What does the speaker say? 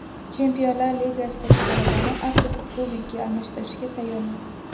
Chempionlar Ligasidagi g‘alabani Afrika Kubogiga almashtirishga tayyorman.